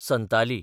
Santali